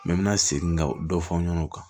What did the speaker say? min bɛ segin ka dɔ fɔ an ɲɛna o kan